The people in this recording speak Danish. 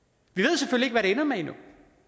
og det ender med endnu